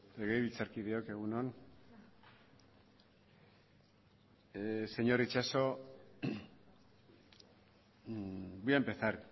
legebiltzarkideok egun on señor itxaso voy a empezar